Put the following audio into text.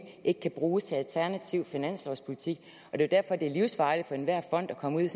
ikke kan bruges til alternativ finanspolitik det er derfor det er livsfarligt for enhver fond at komme ud i